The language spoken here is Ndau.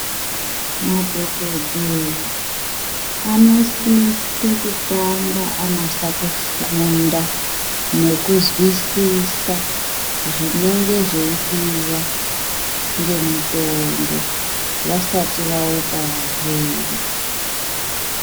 Madhokodheya, anosise kutanga anasa kufunda, nekuzwisisa zvinenge zveidiwa ngemutombo vasati vaupa varwere.